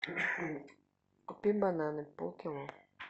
купи бананы полкило